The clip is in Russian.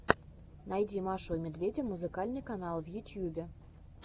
найди машу и медведя музыкальный канал в ютьюбе